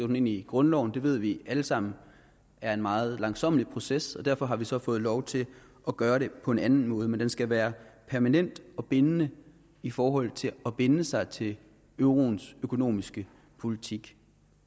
den ind i grundloven det ved vi alle sammen er en meget langsommelig proces og derfor har vi så fået lov til at gøre det på en anden måde men den skal være permanent og bindende i forhold til at binde sig til euroens økonomiske politik